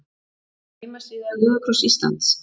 Heimasíða Rauða kross Íslands